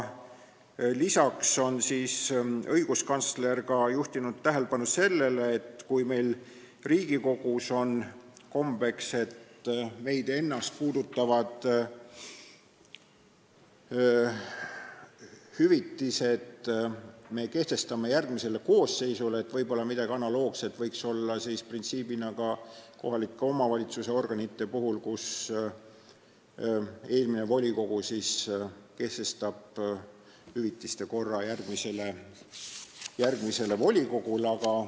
Lisaks on õiguskantsler juhtinud tähelepanu sellele, et kui meil Riigikogus on kombeks, et Riigikogu ennast puudutavad hüvitised me kehtestame järgmise koosseisu jaoks, siis võiks võib-olla midagi analoogset kehtida printsiibina ka kohalike omavalitsuste organite puhul, nii et eelmine volikogu kehtestaks hüvitiste korra järgmise volikogu jaoks.